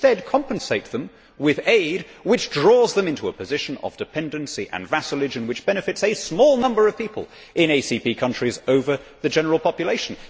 We instead compensate them with aid, which draws them into a position of dependency and vassalage and which benefits a small number of people in ACP countries over the general population.